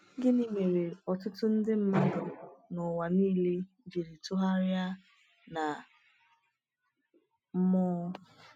Gịnị mere ọtụtụ ndị mmadụ n’ụwa niile jiri tụgharịa na mmụọ?